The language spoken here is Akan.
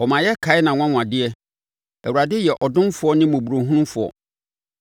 Ɔma yɛkae nʼanwanwadeɛ; Awurade yɛ ɔdomfoɔ ne mmɔborɔhunufoɔ.